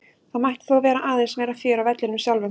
Það mætti þó vera aðeins meira fjör á vellinum sjálfum.